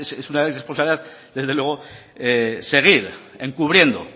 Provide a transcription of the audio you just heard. es una irresponsabilidad desde luego seguir encubriendo